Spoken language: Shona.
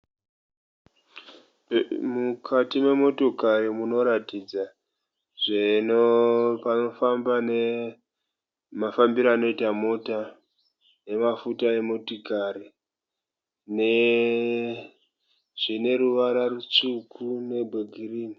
Mukati memotokari munoratidza mafambiro anoita mota nemafuta emotokari. Zvine ruvara rwutsvuku ne rwegirinhi.